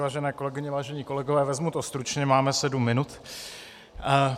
Vážené kolegyně, vážení kolegové, vezmu to stručně, máme sedm minut.